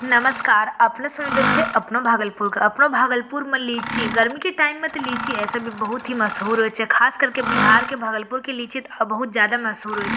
नमस्कार अपने सुनेल छे अपनो भागलपुर अपनो भागलपुर में लिची गर्मी के टाइम में तो लिची ऐसे भी बहुत ही मशहूर होये छे खास करके बिहार के भागलपुर के लिची तो बहुत ज़्यादा ही मशहूर होये छे।